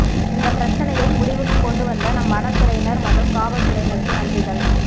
இந்த பிரச்சனையை முடிவுக்கு கொண்டுவந்த நம் வனத்துறையினர் மற்றும் காவல் துறையினருக்கு நன்றிகள்